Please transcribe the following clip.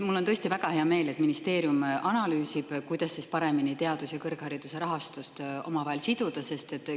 Mul on tõesti väga hea meel, et ministeerium analüüsib, kuidas teaduse ja kõrghariduse rahastust omavahel paremini siduda.